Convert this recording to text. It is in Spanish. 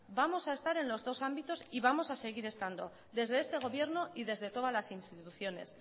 vamos a estar en los dos ámbitos y vamos a seguir estando desde este gobierno y desde todas las instituciones